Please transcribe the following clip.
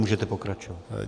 Můžete pokračovat.